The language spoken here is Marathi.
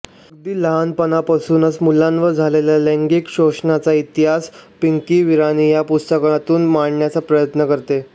अगदी लहानपणापासुन मुलांवर झालेल्या लैंगिक शोषणाचा इतिहास पिंकी विराणी या पुस्तकातून मांडण्याचा प्रयत्न करते